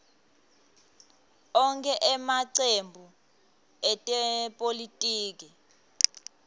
onkhe emacembu etepolitiki